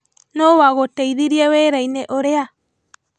Nũ wagũteithirie wĩra-inĩ ũrĩa?